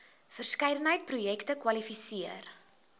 verskeidenheid projekte kwalifiseer